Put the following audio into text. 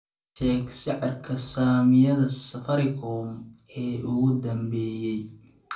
ii sheeg sicirka saamiyada safaricom ee ugu dambeeyay